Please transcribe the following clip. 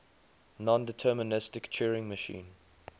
nondeterministic turing machine